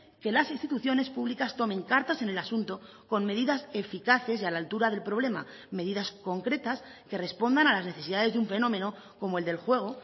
que las instituciones públicas tomen cartas en el asunto con medidas eficaces y a la altura del problema medidas concretas que respondan a las necesidades de un fenómeno como el del juego